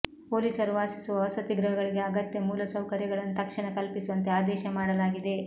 ಪೊಲೀಸರು ವಾಸಿಸುವ ವಸತಿ ಗೃಹಗಳಿಗೆ ಅಗತ್ಯ ಮೂಲ ಸೌಕರ್ಯಗಳನ್ನು ತಕ್ಷಣ ಕಲ್ಪಿಸುವಂತೆ ಆದೇಶ ಮಾಡಲಾಗಿದೆ